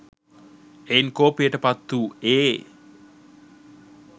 එයින් කෝපයට පත් වූ ඒ